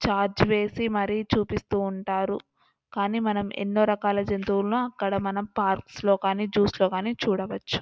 ' Charge వేసి మరీ చూపిస్తూ ఉంటారు కానీ మనం ఎన్నో రకాల జంతువులను అక్కడ మనం పార్క్స్ లో కానీ జూస్ లో గానీ చూడవచ్చు. '